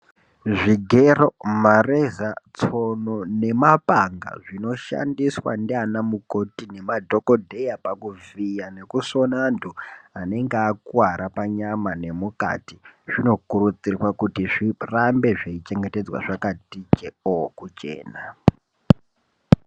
Zvigero mareza tsono nemapanga zvinoshandiswa ndianamukoti nemadhokodheya pakuvhiya nekusona anthu anenge akuwara panyama nemukati zvinokurudzirwa kuti zvirambe zveichengetedzwa zvakati jekoo kuchena.